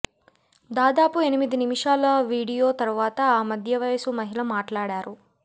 దాదాపు ఎనిమిది నిమిషాల వీడియో తర్వాత ఆ మధ్యవయసు మహిళ మాట్లాడారు